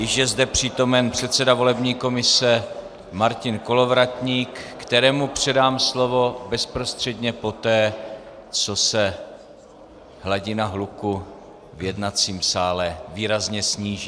Již je zde přítomen předseda volební komise Martin Kolovratník, kterému předám slovo bezprostředně poté, co se hladina hluku v jednacím sále výrazně sníží.